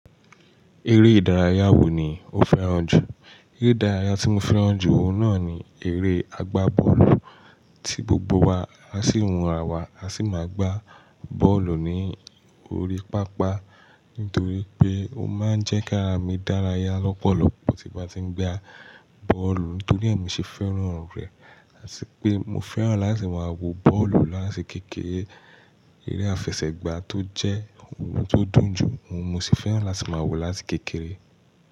Eré ìdárayá wo ni o fẹ́ràn jù? Eré ìdárayá tí mo fẹ́ràn jù náà ni eré àgbá bọ́ọ̀lù. Tí gbogbo wa á sì hun ra wa, á sì máa gbá bọ́ọ̀lù ní orí pápá. Nítorí pé ó máa ń jẹ kí àrá mí dára ya lọpọlọpọ tí ń bá ti ń gbà bọ́ọ̀lù nítorí èmi ṣe fẹ́ràn rẹ̀. Àti pé mo fẹ́ràn láti máa wo bọ́ọ̀lù láti kékeré. Eré àfẹsẹ̀gbá tó jẹ́ ohun tó dùn jù, mo sì fẹ́ràn láti máa wò ó láti kékeré.